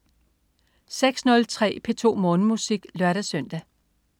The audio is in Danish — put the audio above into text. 06.03 P2 Morgenmusik (lør-søn)